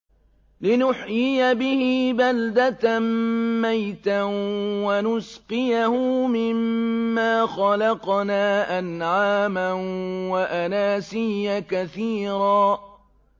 لِّنُحْيِيَ بِهِ بَلْدَةً مَّيْتًا وَنُسْقِيَهُ مِمَّا خَلَقْنَا أَنْعَامًا وَأَنَاسِيَّ كَثِيرًا